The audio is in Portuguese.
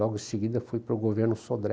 Logo em seguida fui para o governo Sodré.